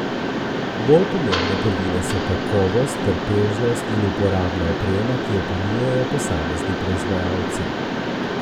Bolj pomembne prvine so kakovost, trpežnost in uporabna oprema, ki jo ponujajo posamezni proizvajalci.